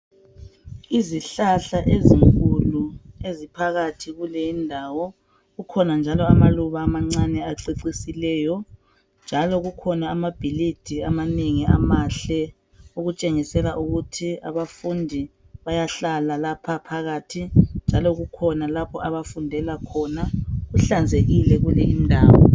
Izihlahla ezinkulu eziphakathi kuleyi ndawo kukhona njalo amaluba amancane acecisileyo njalo kukhona amabhilidi amanengi amahle okutshengisela ukuthi abafundi bayahlala lapha phakathi njalo kukhona lapho abafundela khona kuhlala kuhlanzekile kuleyindawo